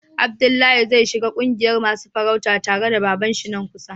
Abdullahi zai shiga ƙungiyan masun farauta tare da baban shi nan kusa.